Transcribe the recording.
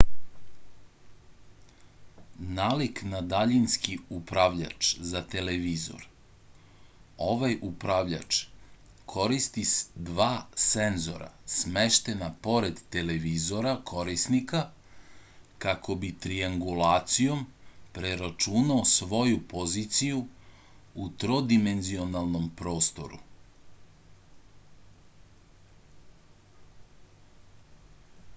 nalik na daljinski upravljač za televizor ovaj upravljač koristi dva senzora smeštena pored televizora korisnika kako bi triangulacijom preračunao svoju poziciju u trodimenzionalnom prostoru